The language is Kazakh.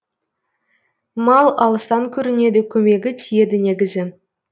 мал алыстан көрінеді көмегі тиеді негізі